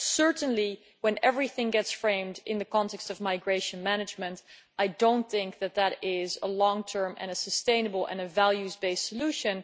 Certainly when everything gets framed in the context of migration management, I do not think that that is a long term and a sustainable and values based solution.